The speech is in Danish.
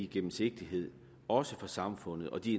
gennemsigtighed også for samfundet og de